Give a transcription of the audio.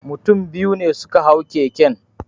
Mutum biyu ne suka hau keken